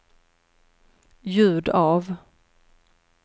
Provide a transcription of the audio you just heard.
ljud av